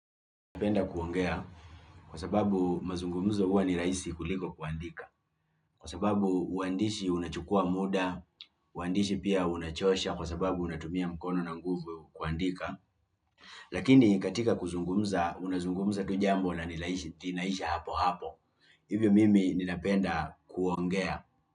Ninapenda kuongea kwa sababu mazungumzo huwa ni rahisi kuliko kuandika kwa sababu uandishi unachukua muda, uandishi pia unachosha kwa sababu unatumia mkono na nguvu kuandika lakini katika kuzungumza unazungumza tu jambo na linaisha hapohapo hivyo mimi ninapenda kuongea.